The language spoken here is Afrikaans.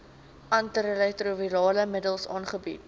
antiretrovirale middels aangebied